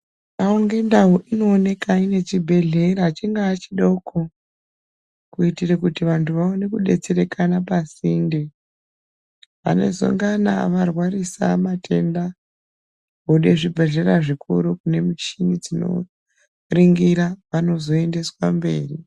Ndau ngendau inooneka nechibhedhleya chingaa chidoko kuitire kuti vantu vaone kudetserekana pasinde vanozongana varwarisa matenda vode zvibhedhleya zvikuru kune muchini dzinoringira vanozoendeswa mberi.